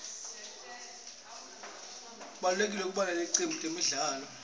kubalulekile kuba nelicembu letemidlalo